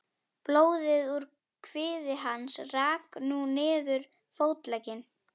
Blóðið úr kviði hans rann nú niður fótlegginn.